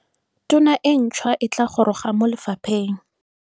Tona e ntšhwa e goroga mo lefapheng.